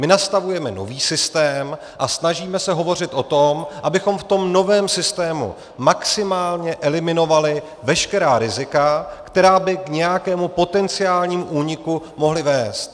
My nastavujeme nový systém a snažíme se hovořit o tom, abychom v tom novém systému maximálně eliminovali veškerá rizika, která by k nějakému potenciálnímu úniku mohla vést.